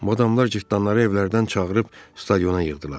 Madamlar cırtdanları evlərdən çağırıb stadiona yığdılar.